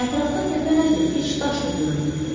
Ətrafda təpə nədir, heç daş da görünmürdü.